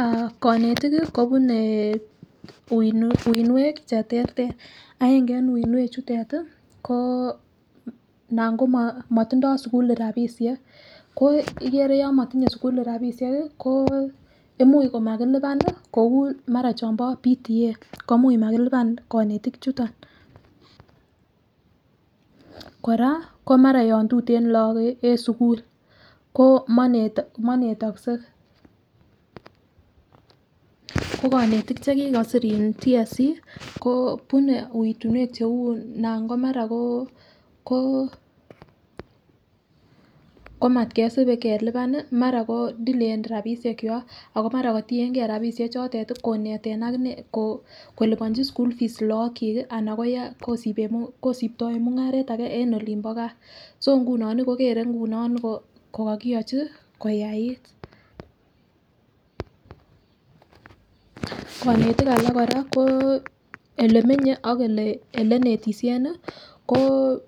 Aah konetik kii kobune uingwek cheterter aenge en uingwek chutet tii ko anan ko motindoi sukulit rabishek ikere yon motinyee sukulit rabishek ko ko imuch komakilipan nii kou mara chombo PTA ko mara mailipan konetik chuton. Koraa mara yon tuten lok en sukul ko mone monetokse ko konetik chekikosir in TSC ko kobune pitunet cheu anan ko mara ko komat kesib kelipan nii mara kodelayen rabishek kwak ako mara kotiyengee rabishek chotet tii koneten akinee kolibonchi school fees lok chik kii ana kosibtoen mungaret age en olin bo gaa. So nguno nii kokere nguno ko kokiyochi koyait. Konetik alak Koraa ko olemenye Kam ele nii koo